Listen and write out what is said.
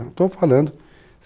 Estou falando.